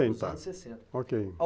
E dos anos sessenta, ok.